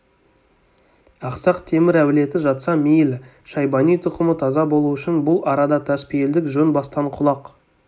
ақсақ темір әулеті жатса мейлі шайбани тұқымы таза болу үшін бұл арада таспейілдік жөн бастан құлақ